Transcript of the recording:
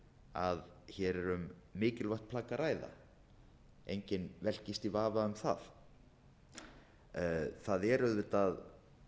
að hér er um mikilvægt plagg að ræða enginn velkist í vafa um það það er auðvitað